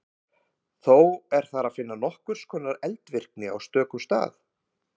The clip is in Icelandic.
Þó er þar að finna nokkurs konar eldvirkni á stöku stað.